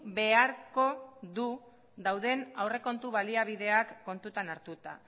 beharko du dauden aurrekontu baliabideak kontutan hartuta